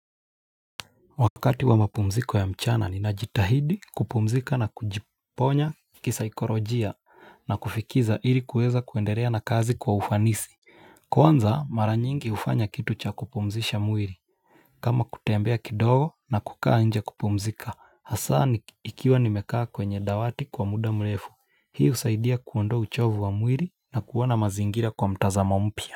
Wakati wa mapumziko ya mchana ni najitahidi kupumzika na kujiponya kisaikolojia na kufikiza ili kueza kuendelea na kazi kwa ufanisi. Kwanza mara nyingi hufanya kitu cha kupumzisha mwili. Kama kutembea kidogo na kukaa nje kupumzika. Hasaa ni ikiwa nimekaa kwenye dawati kwa muda mrefu. Hio husaidia kuondo uchovu wa mwili na kuona mazingira kwa mtazamo mpya.